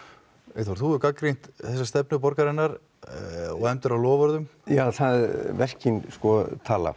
Eyþór þú hefur gagnrýnt þessa stefnu borgarinnar og efndir á loforðum já verkin tala